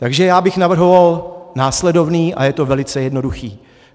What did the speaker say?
Takže já bych navrhoval následovné a je to velice jednoduché.